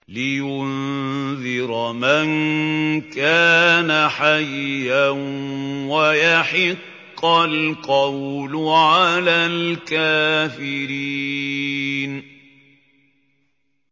لِّيُنذِرَ مَن كَانَ حَيًّا وَيَحِقَّ الْقَوْلُ عَلَى الْكَافِرِينَ